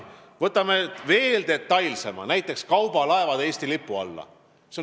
Võtame edasi veel detailsemalt, näiteks kaubalaevade Eesti lipu alla toomise.